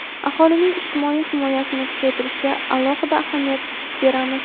aholining ijtimoiy himoyasini kuchaytirishga alohida ahamiyat beramiz.